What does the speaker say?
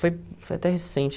Foi foi até recente.